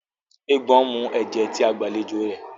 Eégbọn nmú ẹjẹ tí àgbàlẹjọ rẹ